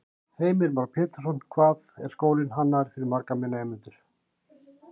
Heimir Már Pétursson: Hvað, hvað er skólinn hannaður fyrir marga nemendur?